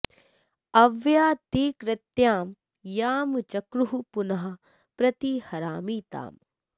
अव्यां॑ ते॑ कृत्यां यां च॒क्रुः पुनः॒ प्रति॑ हरामि॒ ताम्